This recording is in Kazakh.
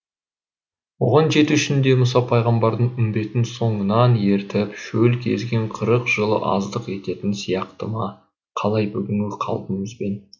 оған жету үшін де мұса пайғамбардың үмбетін соңынан ертіп шөл кезген қырық жылы аздық ететін сияқты ма қалай бүгінгі қалпымызбен